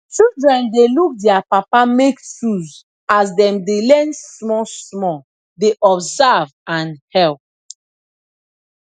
children dey look dier papa make tools as dem de learn small small dey observe and help